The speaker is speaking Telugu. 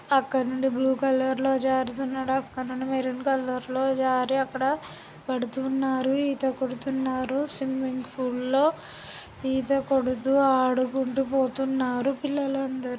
అక్కడనుండి బ్లూ కలర్ లో జారుతూ ఉండడం అక్కడ నుండి మెరూన్ కలర్ లో జారీ పడుతున్నారు అక్కడ ఈత కొడుతున్నారు స్విమ్మింగ్ పూల్ లో ఈతకొడుతూ ఆడుకుంటూ పోతున్నారు పిల్లలందరు.